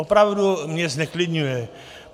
Opravdu mě zneklidňuje.